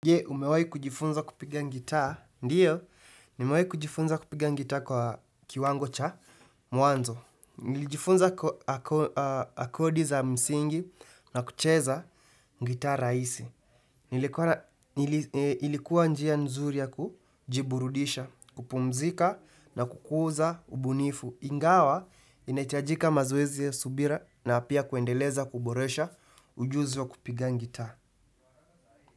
Je, umewai kujifunza kupiga ngitaa, ndiyo, nimewai kujifunza kupiga ngitaa kwa kiwango cha mwanzo. Nilijifunza akodi za msingi na kucheza gitaa rahisi. Nilikuwa ilikuwa njia nzuri ya kujiburudisha, kupumzika na kukuza, ubunifu. Ingawa inahitajika mazoezi ya subira na pia kuendeleza kuboresha ujuzi wa kupiga ngitaa.